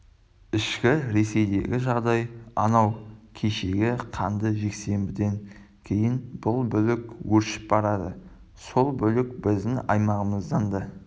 ішкі ресейдегі жағдай анау кешегі қанды жексенбіден кейін бүлік өршіп барады сол бүлік біздің аймағымыздан да